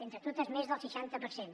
entre totes més del seixanta per cent